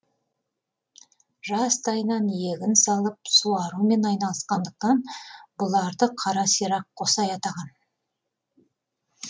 жастайынан егін салып суарумен айналысқандықтан бұларды қара сирақ қосай атаған